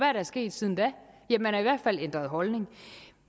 er der sket siden da ja man har i hvert fald ændret holdning